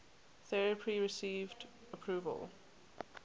therapy received approval